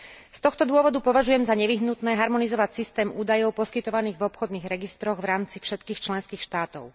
Z tohto dôvodu považujem za nevyhnutné harmonizovať systém údajov poskytovaných v obchodných registroch v rámci všetkých členských štátov.